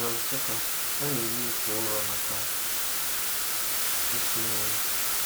Na Nsukka, a na-eme ite ụrọ maka isi nri.